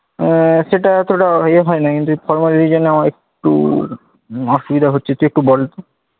আহ সেটা অতটা ইয়ে হয়নাই কিন্তু এই formal Regional আমার একটু অসুবিধা হচ্ছে তুই একটু বল তো।